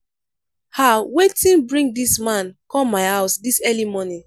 ah wetin bring dis man come my house dis early morning?